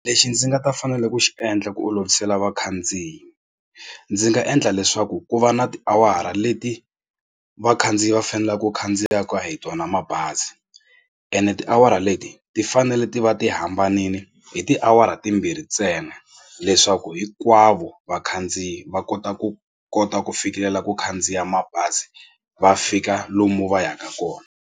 Lexi ndzi nga ta fanele ku xi endla ku olovisela vakhandziyi ndzi nga endla leswaku ku va na tiawara leti vakhandziyi va faneleke ku khandziyaka hi tona mabazi ene tiawara leti ti fanele ti va ti hambanile hi tiawara timbirhi ntsena leswaku hinkwavo vakhandziyi va kota ku kota ku fikelela ku khandziya mabazi va fika lomu va yaka kona.